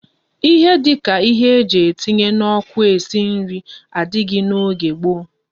Ihe dika ihe eji etinye na oku esi nri adighi na oge gboo